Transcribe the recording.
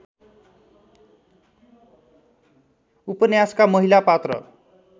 उपन्यासका महिला पात्र